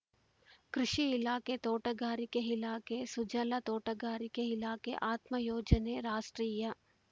ಕೃಷಿ ಇಲಾಖೆತೋಟಗಾರಿಕೆ ಇಲಾಖೆ ಸುಜಲಾ ತೋಟಗಾರಿಕೆ ಇಲಾಖೆ ಆತ್ಮ ಯೋಜನೆ ರಾಷ್ಟ್ರೀಯ